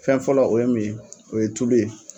Fɛn fɔlɔ o ye mun ye , o ye tulu ye.